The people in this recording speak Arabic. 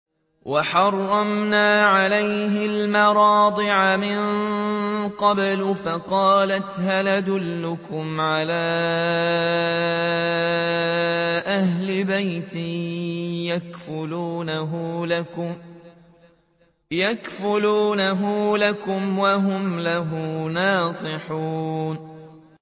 ۞ وَحَرَّمْنَا عَلَيْهِ الْمَرَاضِعَ مِن قَبْلُ فَقَالَتْ هَلْ أَدُلُّكُمْ عَلَىٰ أَهْلِ بَيْتٍ يَكْفُلُونَهُ لَكُمْ وَهُمْ لَهُ نَاصِحُونَ